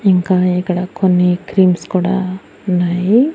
ఇంకా ఇక్కడ కొన్ని క్రీమ్స్ కూడా ఉన్నాయి.